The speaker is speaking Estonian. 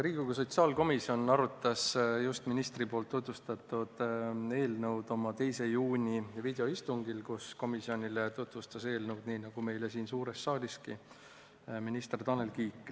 Riigikogu sotsiaalkomisjon arutas eelnõu, mida minister äsja tutvustas, oma 2. juuni videoistungil, kus komisjonile tutvustas eelnõu nii nagu meile siin suures saaliski minister Tanel Kiik.